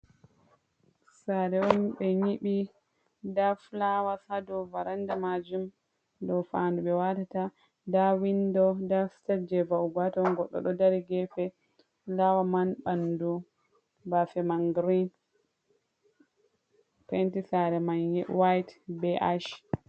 Sare on ɓe nyiɓi, nda fulawas haa dow varanda majum ɗo faandu ɓe watata, nda windo, nda sitep je va'ugo haa ton, goɗɗo ɗo dari gefe, nda waman ɓandu baafe man girin, penti sare man white be ash.